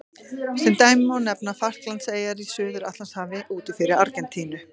Sem dæmi má nefna Falklandseyjar í Suður-Atlantshafi úti fyrir Argentínu.